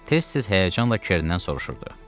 Tez-tez həyəcanla Kerndən soruşurdu.